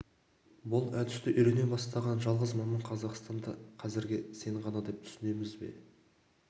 бұл әдісті үйрене бастаған жалғыз маман қазақстанда қазірге сен ғана деп түсінеміз бе